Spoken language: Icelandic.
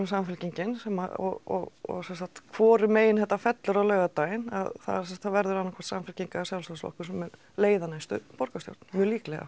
Samfylkingin og og sem sagt hvorum megin þetta fellur á laugardaginn það verður annað hvort Samfylkingin eða Sjálfstæðisflokkur sem mun leiða næstu borgarstjórn mjög líklega